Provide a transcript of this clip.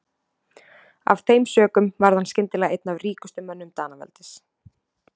Af þeim sökum varð hann skyndilega einn af ríkustu mönnum Danaveldis.